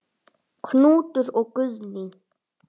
Knútur og Guðný.